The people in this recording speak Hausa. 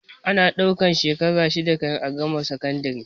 Ana ɗaukan shekara shida kan a gama sakandare